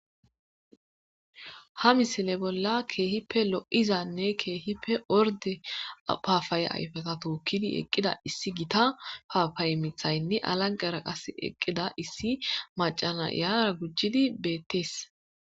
Ha misile bolla kehippe lo'izanne kehippe orde gidida papayeza tokidi eqida issi gita papaye mithayne alangaza kushen oykada eqida issi mac'a na'eyra beetes.